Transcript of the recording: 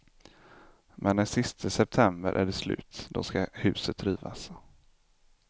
Men den siste september är det slut, då skall huset rivas.